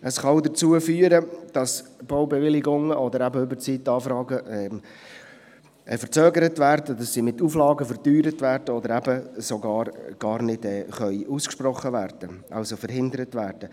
Es kann auch dazu führen, dass Baubewilligungen oder eben Überzeitanfragen verzögert, mit Auflagen verteuert oder allenfalls sogar ganz verhindert werden.